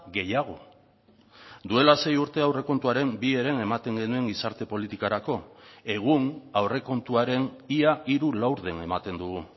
gehiago duela sei urte aurrekontuaren bi heren ematen genuen gizarte politikarako egun aurrekontuaren ia hiru laurden ematen dugu